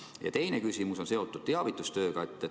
Mu teine küsimus on seotud teavitustööga.